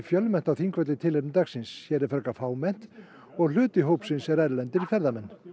fjölmennt á Þingvelli í tilefni dagsins hér er frekar fámennt og hluti hópsins er erlendir ferðamenn